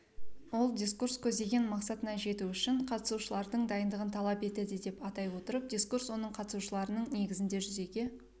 ол дискурс көздеген мақсатына жету үшін қатысушылардың дайындығын талап етеді деп атай отырып дискурс оның қатысушыларының негізінде жүзеге